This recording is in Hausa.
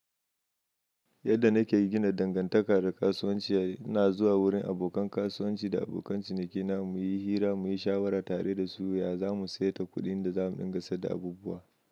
Yadda nake gina dangantaka da kasuwanci, ina zuwa wurin abokan kasuwanci da abokan ciniki na muyi hira muyi shawara tare da su, ya zamu sayar da kuɗin da zamu ɗinga sad da abubuwa.